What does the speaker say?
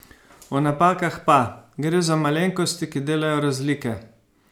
O napakah pa: "Gre za malenkosti, ki delajo razlike.